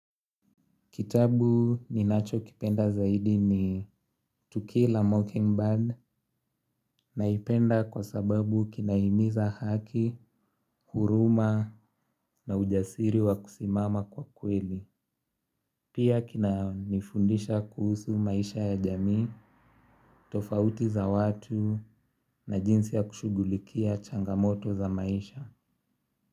Kitabu ninachokipenda zaidi ni To Kill a Mockingbird naipenda kwa sababu kinahimiza haki, huruma na ujasiri wa kusimama kwa kweli. Pia kinanifundisha kuhusu maisha ya jamii, tofauti za watu na jinsi ya kushughulikia changamoto za maisha.